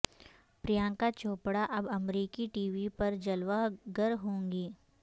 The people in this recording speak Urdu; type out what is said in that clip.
پریانکا چوپڑہ اب امریکی ٹی وی پر جلوہ گر ہوں گی